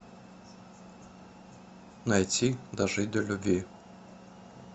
найти дожить до любви